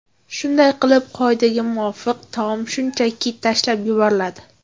Shunday qilib, qoidaga muvofiq, taom shunchaki tashlab yuboriladi.